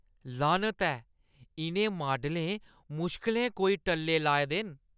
लानत ऐ! इʼनें माडलें मुश्कलें कोई टल्ले लाए दे न।